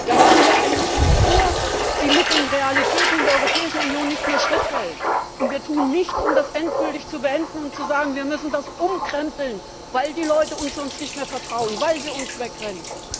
Wir haben hier eine Struktur, die mit den Realitäten in der Europäischen Union nicht mehr Schritt hält, und wir tun nichts, um das endgültig zu beenden und zu sagen Wir müssen das umkrempeln, weil die Leute uns sonst nicht mehr vertrauen, weil sie uns wegrennen.